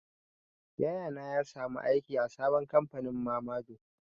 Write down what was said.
Yaya na ya samu aiki a sabon kamfanin mamador.